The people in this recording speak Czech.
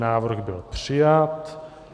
Návrh byl přijat.